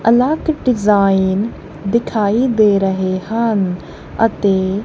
ਅਲੱਗ ਡਿਜ਼ਾਇਨ ਦਿਖਾਈ ਦੇ ਰਹੇ ਹਨ ਅਤੇ--